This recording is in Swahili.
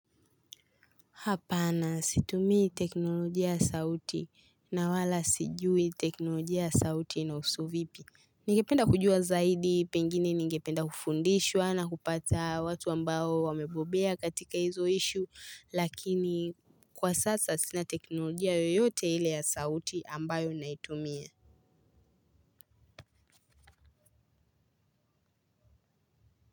Hapana situmii teknolojia ya sauti na wala sijui teknolojia ya sauti inahusu vipi. Nigependa kujua zaidi pengini ningependa kufundishwa na kupata watu ambao wamebobea katika hizo "issue" lakini kwa sasa sina teknolojia yoyote ile ya sauti ambayo naitumia.